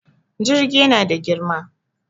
Jirgi yana da girma.